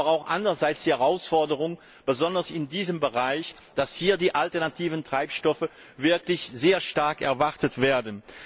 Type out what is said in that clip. Wir kennen aber auch andererseits die Herausforderung, besonders in diesem Bereich, dass hier die alternativen Treibstoffe wirklich sehr stark erwartet werden.